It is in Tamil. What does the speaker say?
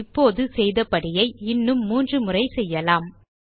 இப்போது செய்த படியை இன்னும் 3 முறை செய்யலாம்